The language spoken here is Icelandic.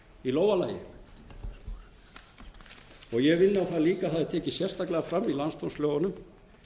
á það líka að það er tekið sérstaklega fram í landsdómslögunum